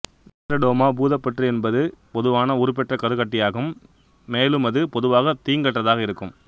teratoma பூதப்புற்று என்பது பொதுவான உருப்பெற்ற கருக்கட்டியாகும் மேலுமது பொதுவாக தீங்கற்றதாக இருக்கும்